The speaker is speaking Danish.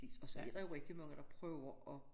Og så er der jo rigtig mange der prøver at